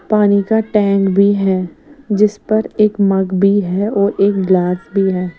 पानी का टैंक भी है जिस पर एक मग भी है और एक ग्लास भी है।